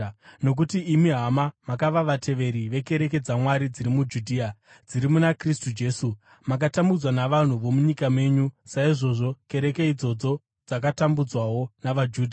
Nokuti imi, hama, makava vateveri vekereke dzaMwari dziri muJudhea, dziri muna Kristu Jesu: Makatambudzwa navanhu vomunyika menyu, saizvozvo kereke idzodzo dzakatambudzwawo navaJudha,